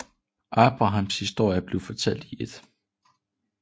Abrahams historie bliver fortalt i 1